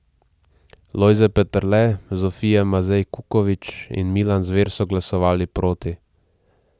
Lojze Peterle, Zofija Mazej Kukovič in Milan Zver so glasovali proti.